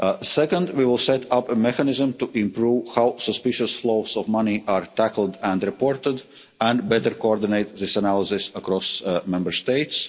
year. Second, we will set up a mechanism to improve how suspicious flows of money are tackled and reported and better coordinate this analysis across Member